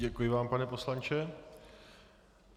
Děkuji vám, pane poslanče.